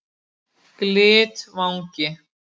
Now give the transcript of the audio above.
Glitvangi